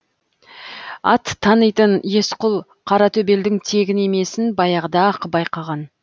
ат танитын есқұл қаратөбелдің тегін емесін баяғыда ақ байқаған